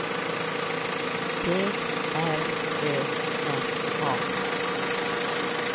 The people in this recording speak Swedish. G R Ö N A